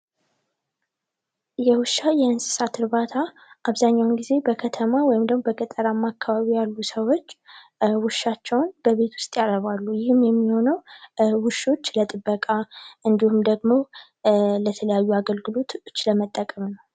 የውሻ የእንስሳት እርባታ አብዛኛውን ጊዜ በከተማ ወይም ደግሞ በገጠር አካባቢ ያሉ ሰዎች ውሻቸውን ቤት ውስጥ ያረባሉ። ይህም የሚሆነው ለጥበቃ እንዲሁም ደግሞ ለተለያዩ አገልግሎቶች ለመጠቀም ነው።